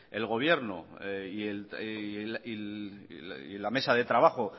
el gobierno y la mesa de trabajo